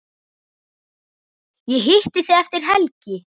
Ég hitti þig eftir helgi.